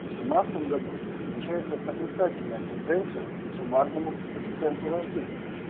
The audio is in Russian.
в семнадцатом году намечается отрицательная тенденция к суммарному коэффициенту рождения